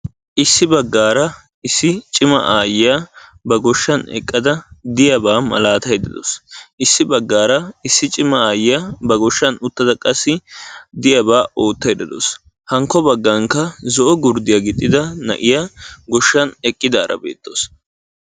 Issi baggaara issi cima aayyiya ba goshshan eqqada diyabaa malaatayidda dawusu. Issi baggaara issi cima aayyiya ba goshahan uttada qassi diyabaa oottayidda dawusu. Hankko baggankka zo'o gurddiya gixxida na'iya eqqidaara beettawusu.